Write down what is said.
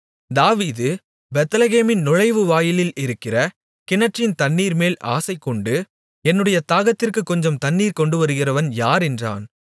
தாவீது பெத்லெகேமின் நுழைவுவாயிலில் இருக்கிற கிணற்றின் தண்ணீர்மேல் ஆசைகொண்டு என்னுடைய தாகத்திற்குக் கொஞ்சம் தண்ணீர் கொண்டுவருகிறவன் யார் என்றான்